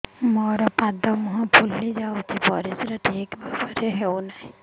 ମୋର ପାଦ ମୁହଁ ଫୁଲି ଯାଉଛି ପରିସ୍ରା ଠିକ୍ ଭାବରେ ହେଉନାହିଁ